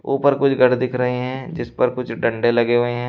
ऊपर कुछ घर दिख रहे हैं जिस पर कुछ डंडे लगे हुए हैं।